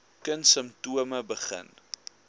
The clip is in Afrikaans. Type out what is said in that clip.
kind simptome begin